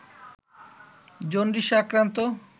জন্ডিসে আক্রান্ত